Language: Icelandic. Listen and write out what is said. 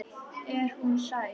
Er hún sæt?